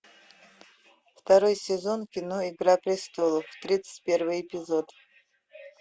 второй сезон кино игра престолов тридцать первый эпизод